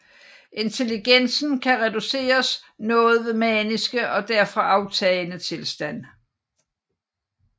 Intelligensen kan reduceres noget ved maniske og derfra aftagende tilstand